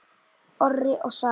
Orri og Saga.